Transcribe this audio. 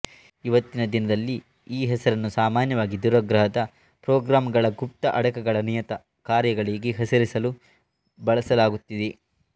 ಇವತ್ತಿನ ದಿನದಲ್ಲಿ ಈ ಹೆಸರನ್ನು ಸಾಮಾನ್ಯವಾಗಿ ದುರಾಗ್ರಹದ ಪ್ರೊಗ್ರಾಂಗಳ ಗುಪ್ತ ಅಡಕಗಳ ನಿಯತ ಕಾರ್ಯಗಳಿಗೆ ಹೆಸರಿಸಲು ಬಳಸಲಾಗುತ್ತಿದೆ